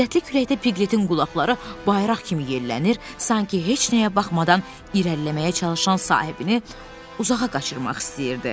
Şiddətli küləkdə Piqletin qulaqları bayraq kimi yerlənir, sanki heç nəyə baxmadan irəliləməyə çalışan sahibini uzağa qaçırmaq istəyirdi.